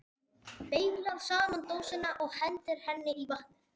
Hún beyglar saman dósina og hendir henni í vatnið.